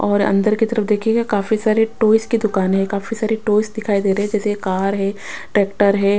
और अंदर की तरफ देखिएगा काफी सारी टॉयज की दुकानें हैं काफी सारी टॉयज दिखाई दे रहे हैं जैसे कार हैं ट्रैक्टर हैं।